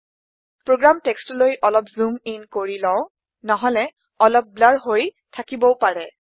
program টেক্সটলৈ অলপ zoom in কৰি লও নহলে অলপ ব্লুৰ হৈ থাকিবও পাৰে